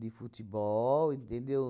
de futebol, entendeu?